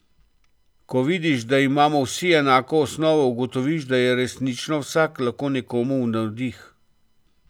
Ko vidiš, da imamo vsi enako osnovo, ugotoviš, da je resnično vsak lahko nekomu v navdih.